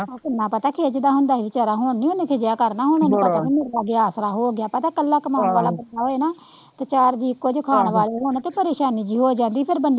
ਕਿੰਨਾ ਪਤਾ ਖਿਜਦਾ ਹੁੰਦਾ ਸੀ ਬੇਚਾਰਾਂ ਹੁਣ ਨੀ ਊਨੇ ਖੀਜੀਆ ਕਰਨਾ ਹੁਣ ਓਨੁ ਪਤਾ ਅਸਰਾ ਹੋ ਗਿਆ ਪਤਾ ਕੱਲਾ ਕਮਾਨ ਵਾਲਾਂ ਬਣਦਾ ਹੋਵੇ ਨਾਂ ਤੇ ਚਾਰ ਜੀ ਇੱਕੋ ਜੇ ਖਾਣ ਵਾਲੇ ਹੋਣ ਤੇ ਪ੍ਰਸ਼ਾਨੀ ਜੇਹੀ ਹੋ ਜਾਂਦੀ ਫੇਰ ਬੰਦੇ,